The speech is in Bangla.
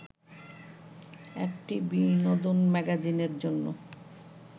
একটি বিনোদন ম্যাগাজিনের জন্য